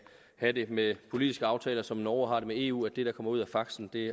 have det med politiske aftaler som norge har det med eu at det der kommer ud af faxen